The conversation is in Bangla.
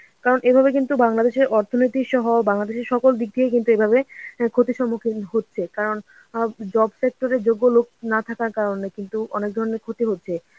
কারণ এভাবে কিন্তু বাংলাদেশের অর্থনীতি সহ বাংলাদেশের সকল দিক দিয়েই কিন্তু এভাবে ক্ষতির সম্মুখীন হচ্ছে. কারণ অ্যাঁ job sector এ যোগ্য লোক না থাকার কারণে কিন্তু অনেক ধরনের ক্ষতি হচ্ছে